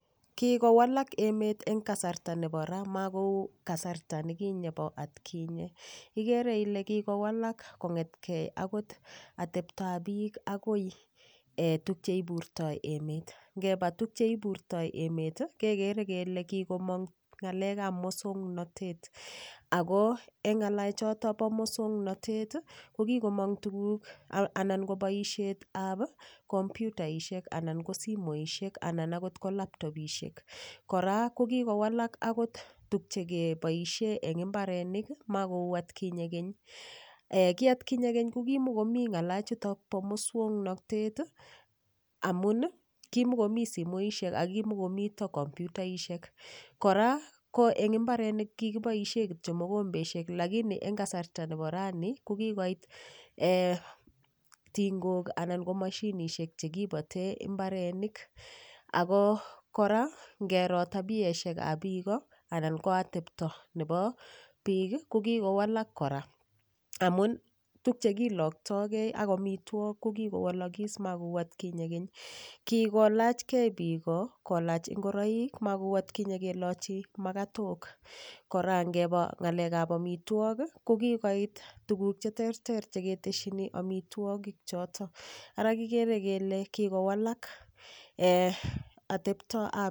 Kikowalak emet eng' kasarta nebo ra makou kasarta nekinye bo atkinye igere ile kikowalak kong'etkei akot ateptoab biik akoi tukche iburtoi emet ngeba tukcheiburtoi emet kekere kele kikomong ng'alekab muswang'natet ako eng' ng'alechoto bo muswang'natet ko kikomong tuguk anan ko boishetab komputaishek anan kosimoishek anan ako ko laptopishek kora ko kikowalak akot tukchekeboishe eng' imbarenik makou atkinye keny ki atkinye keny ko kimikomi ng'alachuto bo muswang'natet amun kimikomi simoishek ako kimikomito komputaishek kora ko mbarenik kiboishe kityo mokombeshek lakini eng' kasarta nebo raini ko kikoit tingok anan ko mashinishek chekibate imbarenik ako kora ngero tabieshekab biko anan ko atepto nebo biik ko kikowalak kora amun tukchekiloktogei ak omitwok ko kikowolokis makou atkinye keny kikolachgei biko kolach ngoroik makou atkinye kelochi makatok kora ngeba ng'alekab omitwokik ko kikoit tukuk cheterter cheketeshini omitwokik choto ara kikere kele kikowalak atepto